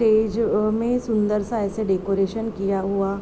stage जो में सुंदर सा ऐसा डेकोरटेशन किया हुआ|